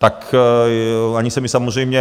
Tak ani se mi samozřejmě...